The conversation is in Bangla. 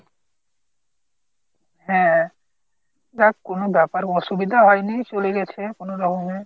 হ্যাঁ যাক কোনো ব্যাপার অসুবিধা হয়নি চলে গেছে কোনো রকমে।